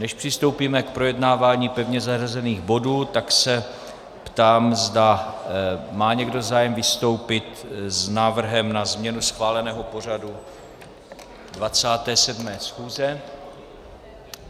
Než přistoupíme k projednávání pevně zařazených bodů, tak se ptám, zda má někdo zájem vystoupit s návrhem na změnu schváleného pořadu 27. schůze.